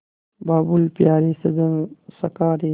बाबुल प्यारे सजन सखा रे